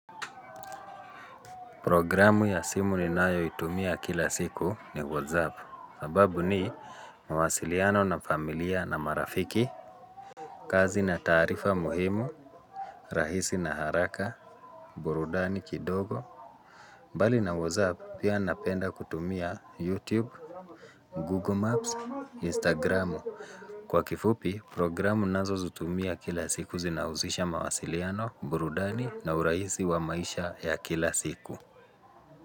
Programu ya simu ninayoitumia kila siku ni whatsapp. Sababu ni mawasiliano na familia na marafiki. Kazi na taarifa muhimu. Rahisi na haraka. Burudani kidogo. Bali na whatsapp pia napenda kutumia youtube, google maps, instagram. Kwa kifupi programu nazo huzitumia kila siku zinahusisha mawasiliano, burudani na urahisi wa maisha ya kila siku.